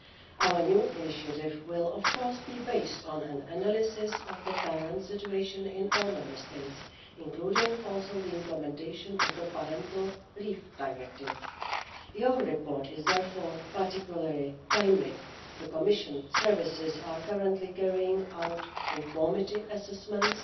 Our new initiative will of course be based on an analysis of the current situation in all Member States, including also the implementation of the parental leave directive. Your report is therefore particularly timely. The Commission services are currently carrying out conformity assessments